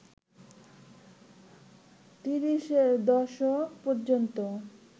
তিরিশের দশক ‌পর্যন্ত